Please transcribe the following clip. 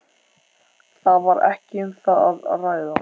Það var ekki um það að ræða.